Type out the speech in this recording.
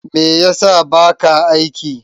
Me ya sa baka aiki?